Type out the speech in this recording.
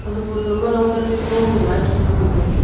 aga photo ma long dat taipa long ham ga eh chham la ngantega.